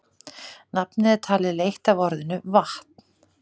Nafnið er talið leitt af orðinu vatn.